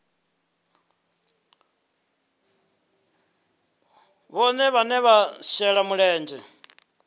vhohe vhane vha shela mulenzhe